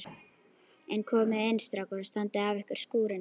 En komiði inn strákar og standið af ykkur skúrina.